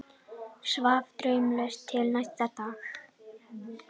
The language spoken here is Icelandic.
Svaf draumlaust til næsta dags.